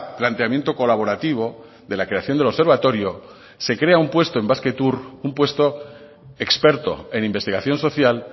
planteamiento colaborativo de la creación del observatorio se crea un puesto en basquetour un puesto experto en investigación social